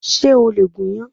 Ṣé o lè gúnyán?